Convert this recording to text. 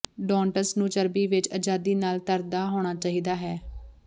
doughnuts ਨੂੰ ਚਰਬੀ ਵਿੱਚ ਅਜਾਦੀ ਨਾਲ ਤਰਦਾ ਹੋਣਾ ਚਾਹੀਦਾ ਹੈ